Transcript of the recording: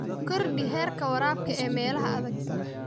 Kordhi heerka waraabka ee meelaha adag.